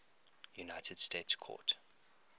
united states court